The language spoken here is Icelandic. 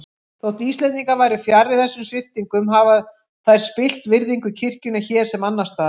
Þótt Íslendingar væru fjarri þessum sviptingum hafa þær spillt virðingu kirkjunnar hér sem annars staðar.